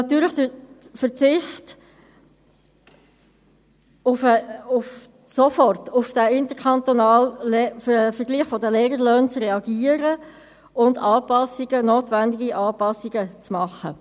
Natürlich auch der Verzicht, sofort auf den interkantonalen Vergleich der Lehrerlöhne zu reagieren und notwendige Anpassungen vorzunehmen.